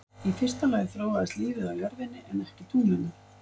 Í fyrsta lagi þróaðist lífið á jörðinni en ekki tunglinu.